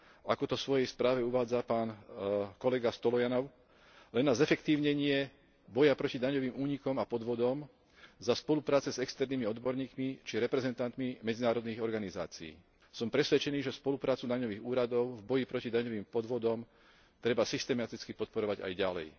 ako to vo svojej správe uvádza pán kolega Stolojan, len na zefektívnenie boja proti daňovým únikom a podvodom za spolupráce s externými odborníkmi či reprezentantmi medzinárodných organizácií. Som presvedčený, že spoluprácu daňových úradov v boji proti daňovým podvodom treba systematicky podporovať aj ďalej.